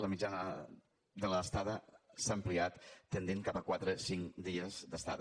la mitjana de l’estada s’ha ampliat i ha tendit cap a quatre cinc dies d’estada